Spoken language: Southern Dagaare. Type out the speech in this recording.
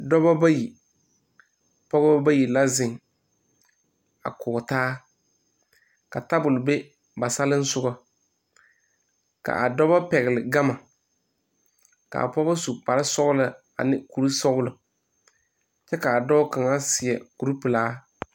Dɔba bayi pɔgeba bayi la zeŋ a kɔge taa ka tabol be ba salensoga k,a dɔba pɛgle gama k,a pugs su kparesɔglaa ane kurisɔglɔ kyɛ k,a dɔɔ kaŋa seɛ kuripelaa.